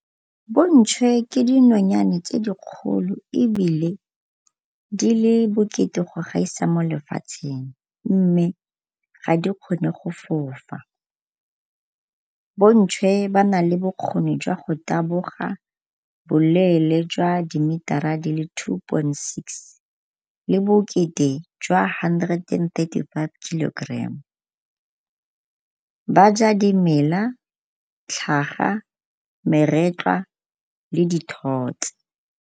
Bontšhwe ke dinonyane tse dikgolo ebile di le bokete go gaisa mo lefatsheng ebile ga di kgone go fofa. Bontšhwe ba na le bokgoni jwa go taboga boleele jwa dimetara di le two point six le bokete jwa hundred and thirty five kilogram. Ba ja dimela, tlhaga, meretlwa le dithotse.